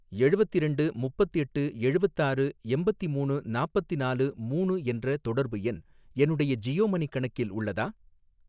எழுவத்திரெண்டு முப்பத்தெட்டு எழுவத்தாறு எம்பத்திமூணு நாப்பத்நாலு மூணு என்ற தொடர்பு எண் என்னுடைய ஜியோ மனி கணக்கில் உள்ளதா?